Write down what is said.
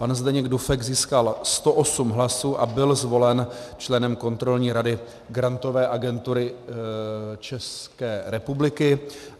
Pan Zdeněk Dufek získal 108 hlasů a byl zvolen členem Kontrolní rady Grantové agentury České republiky.